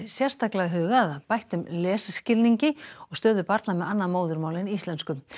sérstaklega hugað að bættum lesskilningi og stöðu barna með annað móðurmál en íslensku